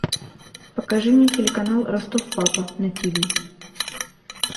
покажи мне телеканал ростов папа на ти ви